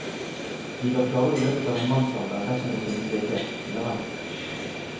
Vi bør klare det i løpet av en mannsalder dersom det finnes vilje, sier han.